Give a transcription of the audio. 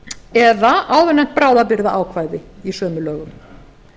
eða áðurnefnt bráðabirgðaákvæði í sömu lögum